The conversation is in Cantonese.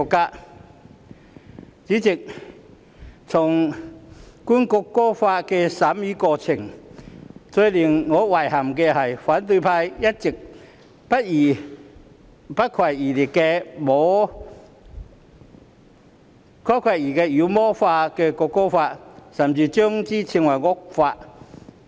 代理主席，在《條例草案》的審議過程中，最令我遺憾的是反對派一直不遺餘力地妖魔化《條例草案》，甚至稱之為惡法。